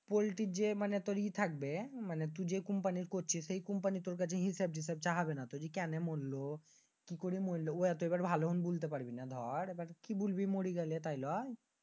পল্টির যে মানি ইয়ে থাকে মানি তুই যে company তে করছিস সেই company তুর কাছে হিসাব চাহাবেনা তো? কেন মরলো? কি করে মরলো? এবার ভালো মন্দ বলতি পারবিনা দর। কি বলবি মরি গেলি দর তাইল?